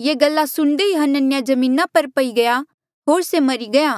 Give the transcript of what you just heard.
ये गल्ला सुणदे ही हनन्याह जमीना पर पई गया होर से मरी गया